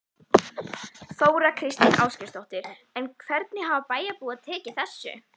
Þóra Kristín Ásgeirsdóttir: En hvernig hafa bæjarbúar tekið þessu?